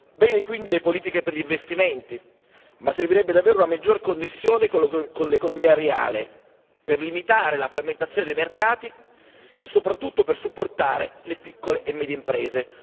Bene quindi le politiche per gli investimenti, ma servirebbe davvero maggiore connessione con l'economia reale per limitare la frammentazione dei mercati e soprattutto per supportare le piccole e medie imprese.